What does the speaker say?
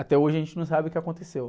Até hoje a gente não sabe o que aconteceu.